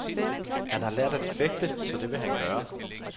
Han har lært at fægte, så det vil han gøre.